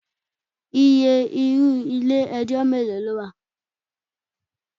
Iye irú ilé ẹjọ́ mélòó ló wà?